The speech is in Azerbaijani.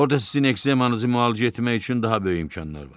Orda sizin ekzemanızı müalicə etmək üçün daha böyük imkanlar var.